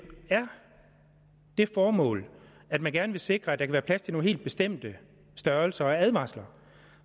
det formål at man gerne vil sikre at der kan være plads til nogle helt bestemte størrelser og advarsler